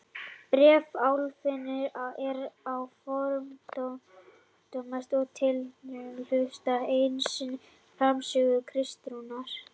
Bréf Álfheiðar er einnig fordómalaust og tiltölulega hlutlaust eins og frásögn Kristínar.